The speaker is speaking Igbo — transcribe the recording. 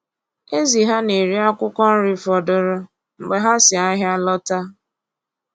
Ezì ha na-eri akwụkwọ nri fọdụrụ mgbe ha si ahịa lọta.